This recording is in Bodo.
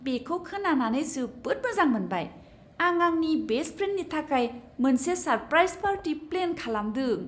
बेखौ खोनानानै जोबोद मोजां मोनबाय! आं आंनि बेस्ट फ्रेन्डनि थाखाय मोनसे सारप्राइज पार्टि प्लेन खालामदों।